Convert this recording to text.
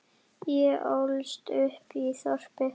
Ég ólst upp í þorpi.